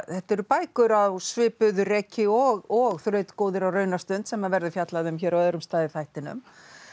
þetta eru bækur á svipuðu reki og og á raunastund sem verður fjallað um hér á öðrum stað í þættinum